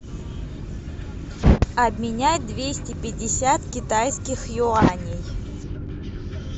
обменять двести пятьдесят китайских юаней